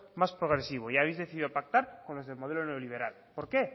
más progresivo y habéis decidido pactar con los del modelo neoliberal por qué